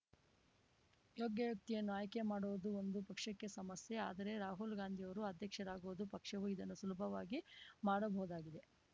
ಯೋಗ್ಯ ವ್ಯಕ್ತಿಯನ್ನು ಆಯ್ಕೆಮಾಡುವುದು ಒಂದು ಪಕ್ಷಕ್ಕೆ ಸಮಸ್ಯೆ ಆದರೆ ರಾಹುಲ್‌ ಗಾಂಧಿಯವರು ಅಧ್ಯಕ್ಷರಾಗುವುದು ಪಕ್ಷವು ಇದನ್ನು ಸುಲಭವಾಗಿ ಮಾಡಬಹುದಾಗಿದೆ